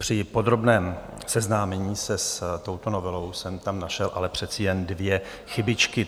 Při podrobném seznámení se s touto novelou jsem tam ale našel přece jen dvě chybičky.